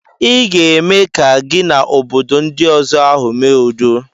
I ga-eme ka gị na obodo ndi ọzọ ahụ mee udo.